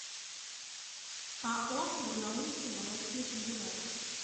ао барнаульский молочный комбинат